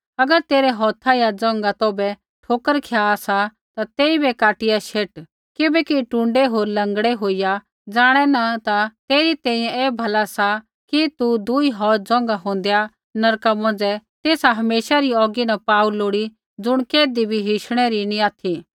अगर तेरै हौथ या ज़ोंघा तौभै ठोकर खिया सा ता तेइबै काटिया शेट किबैकि टुण्डै होर लँगड़ा होईया ज़ाणै न ता तेरै तैंईंयैं ऐ भला सा कि दुई हौथ ज़ोंघा होंदैआ नरका मौंझ़ै तेसा हमेशा री औगी न पाऊ लोड़ी ज़ुण कैधी भी हिशणै री नी ऑथि